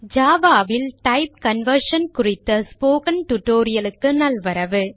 Java ல் type conversion குறித்த ஸ்போக்கன் tutorial க்கு நல்வரவு